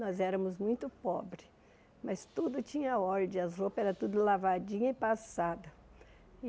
Nós éramos muito pobres, mas tudo tinha ordem, as roupas eram tudo lavadinha e passada.